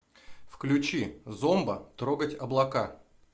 включи зомба трогать облака